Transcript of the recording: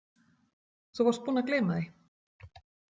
Þú varst búinn að gleyma því.